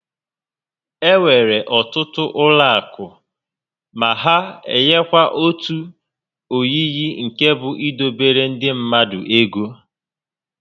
Enwere ọtụtụ ụlọ akụ ma ha enyekwa otu oyiyi nke bụ idobere ndị mmadụ ego